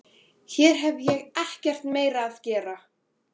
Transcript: Hér hef ég ekkert meira að gera.